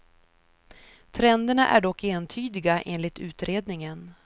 Trenderna är dock entydiga, enligt utredningen.